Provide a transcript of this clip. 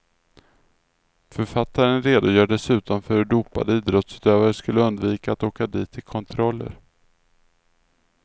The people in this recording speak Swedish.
Författaren redogör dessutom för hur dopade idrottsutövare skulle undvika att åka dit i kontroller.